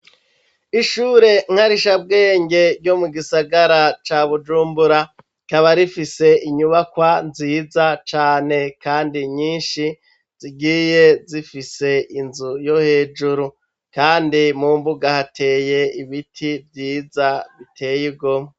Ishure nkarishabwenge yo mu gisagara ca bujumbura rikaba rifise inyubakwa nziza cane kandi nyinshi zigiye zifise inzu yo hejuru kandi mu mbuga hateye ibiti vyiza biteye igomwe.